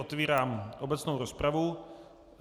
Otevírám obecnou rozpravu.